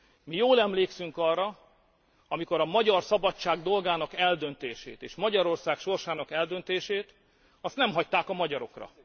Mi jól emlékszünk arra, amikor a magyar szabadság dolgának eldöntését és Magyarország sorsának eldöntését nem hagyták a magyarokra.